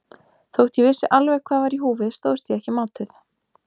Þótt ég vissi alveg hvað var í húfi stóðst ég ekki mátið.